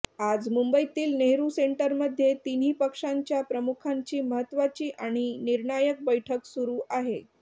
आज मुंबईतील नेहरू सेंटरमध्ये तिन्ही पक्षांच्या प्रमुखांची महत्त्वाची आणि निर्णायक बैठक सुरू आहे